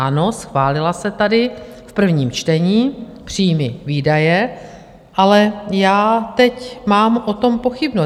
Ano, schválila se tady v prvním čtení, příjmy - výdaje, ale já teď mám o tom pochybnost.